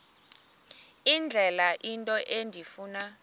indlela into endifuna